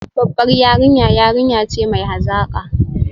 Babbar yarinya yarinya ce mai hazaka